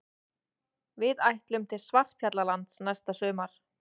Við ætlum til Svartfjallalands næsta sumar.